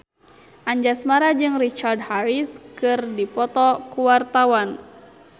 Anjasmara jeung Richard Harris keur dipoto ku wartawan